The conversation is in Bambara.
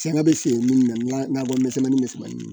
Sanga bɛ siri minnu na o misɛnmani misɛnmanin